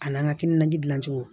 A n'an ka kinanji cogo